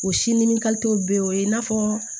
O si ni bɛ o ye i n'a fɔ